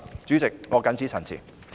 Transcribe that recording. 主席，我謹此陳辭。